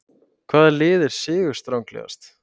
Hvaða lið er sigurstranglegast?